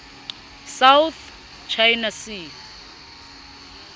south china sea